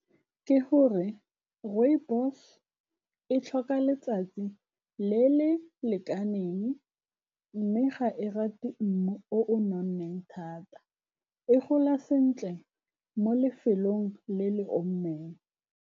Ke gore rooibos-e e tlhoka letsatsi le le lekaneng, mme ga e rate mmu o I nonneng thata e gola sentle mo lefelong le le omileng.